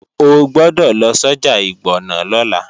O gbọ́dọ̀ lọ sọ́jà Ìgbọ̀nà lọ́la!